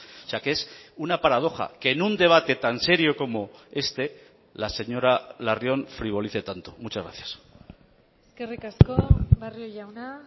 o sea que es una paradoja que en un debate tan serio como este la señora larrion frivolice tanto muchas gracias eskerrik asko barrio jauna